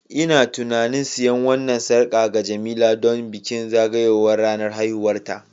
Ina tunanin siyan wannan sarƙa ga Jemila don bikin zagayowar ranar haihuwarta